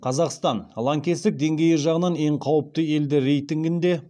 қазақстан лаңкестік деңгейі жағынан ең қауіпті елдер рейтингінде